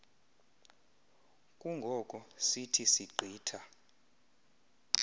kungoko sithi sigqitha